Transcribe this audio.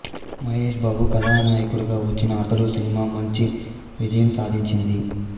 మహేష్ బాబు కథానాయకుడిగా వచ్చిన అతడు సినిమా మంచి విజయం సాధించింది